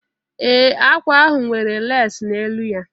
Ee, ákwà ahụ nwere lesi n'elu ya